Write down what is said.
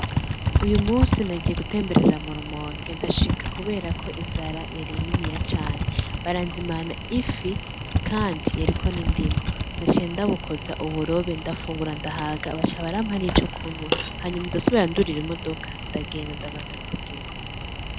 Uyu musi nagiye gutemberera mu rumonge ndashika kubera ko inzara yari nini cane , baranzimana ifi kandi yariko n’indimu. Naciye ndayikoza uburobe ndafungura ndahaga baca barampa n’ico kunwa hanyuma ndasubira ndurira imodoka ndagenda ndabandanya urugendo.